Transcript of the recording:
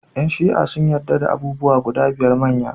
Yan Shi'a sun yadda da abubuwa guda biyar manya.